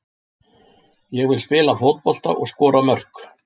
Ég vil spila fótbolta og skora mörk.